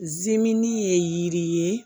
Zimini ye yiri ye